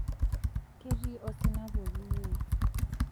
ketii osina pokin wei